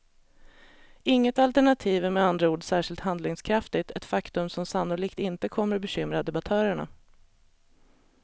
Inget alternativ är med andra ord särskilt handlingskraftigt, ett faktum som sannolikt inte kommer bekymra debattörerna.